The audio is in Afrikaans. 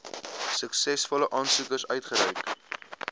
suksesvolle aansoekers uitgereik